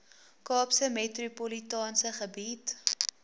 kaapse metropolitaanse gebied